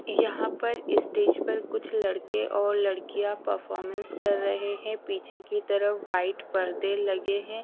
यहाँ पर इस स्टेज पर कुछ लडके और लडकिया परफॉर्मन्स कर रहे है पीछे की तरफ व्हाईट पडदे लगे हुए है।